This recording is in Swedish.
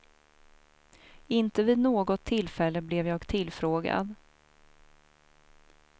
Inte vid något tillfälle blev jag tillfrågad.